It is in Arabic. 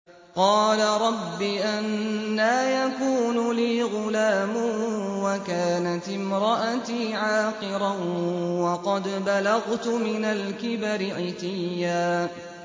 قَالَ رَبِّ أَنَّىٰ يَكُونُ لِي غُلَامٌ وَكَانَتِ امْرَأَتِي عَاقِرًا وَقَدْ بَلَغْتُ مِنَ الْكِبَرِ عِتِيًّا